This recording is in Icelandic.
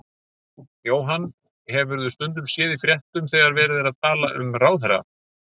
Jóhann: Hefurðu stundum séð í fréttunum þegar verið er að tala um ráðherra?